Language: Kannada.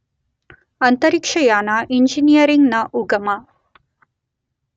ಅಂತರಿಕ್ಷಯಾನ ಇಂಜಿನಿಯರಿಂಗ್ ನ ಉಗಮ